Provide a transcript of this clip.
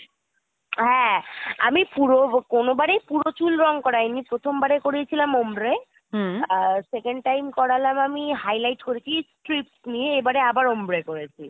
হ্যা আমি পুরো কোনোবারই পুরো চুল রং করাই নি প্রথম বাড়ে করিয়েছিলাম Ombre আর second time করলাম আমি highlight করেছিstrip নিয়ে এবারে আবার Ombre করেছি।